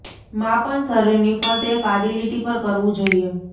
માપન શરીરની ફરતે એક આડી લીટી પર કરવું જોઇએ